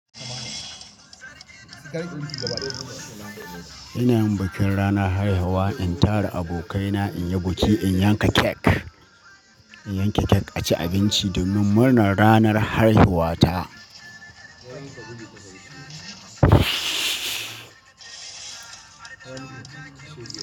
Ina yin bikin ranar haihuwa, in tara abokaina in yi biki, in yanka cake, in yanka cake, a ci abinci domin murnar ranar haihuwata.